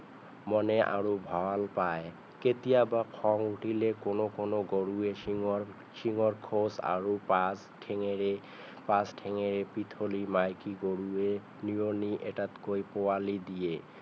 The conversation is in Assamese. মনে আৰু ভাল পায় কেতিয়াবা খং উঠিলে কোনো কোনো গৰুৱে শিঙৰ শিঙৰ খোজ আৰু পাছ ঠেঙেৰে পাছ ঠেঙেৰে পিঠলী মাইকী গৰুৱে নিয়মি এটাকৈ পোৱালি দিয়ে